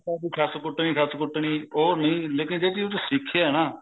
ਵੀ ਸੱਸ ਕੁੱਟਣੀ ਸੱਸ ਕੁੱਟਣੀ ਉਹ ਨੀ ਲੇਕਿਨ ਜਿਹੜੀ ਉਹਦੇ ਚ ਸਿੱਖਿਆ ਨਾ